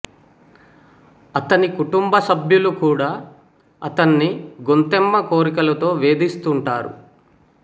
అతని కుటుంబ సభ్యులు కూడా అతన్ని గొంతెమ్మ కోర్కెలతో వేధిస్తుంటారు